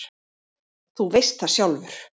Þú veist það sjálfur.